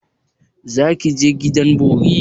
Za ki je gidan bori?